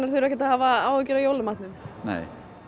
þurfa ekki að hafa áhyggjur af jólamatnum nei